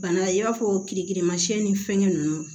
Bana i b'a fɔ kirikirimasiyɛn ni fɛngɛn ninnu